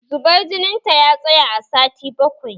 Zubar jinin ta ya tsaya a sati bakwai